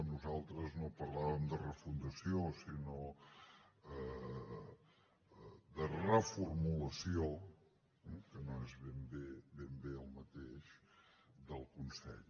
nosaltres no parlàvem de refundació sinó de reformulació que no es ben bé el mateix del consell